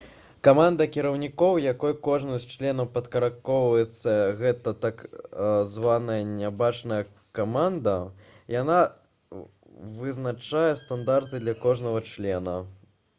каманда кіраўнікоў якой кожны з членаў падпарадкоўваецца — гэта так званая «нябачная каманда». яна вызначае стандарты для кожнага члена